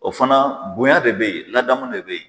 O fana bonya de bɛ yen, ladamun de bɛ yen.